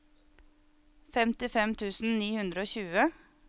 femtifem tusen ni hundre og tjue